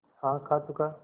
हाँ खा चुका